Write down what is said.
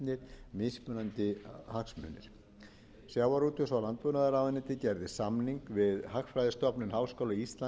verða og metnir mismunandi hagsmunir sjávarútvegs og landbúnaðarráðuneytið gerði samning við hagfræðistofnun háskóla íslands í